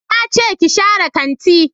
Na ce ki share kanti